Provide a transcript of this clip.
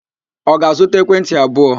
Ọ ga-azụta ekwentị abụọ?